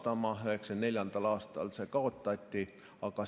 1994. aastal see kaotati.